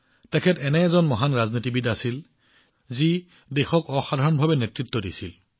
তেওঁ এজন মহান ৰাজনীতিবিদ আছিল যিয়ে দেশক ব্যতিক্ৰমী নেতৃত্ব প্ৰদান কৰিছিল